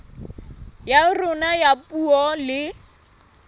ya rona ya puo le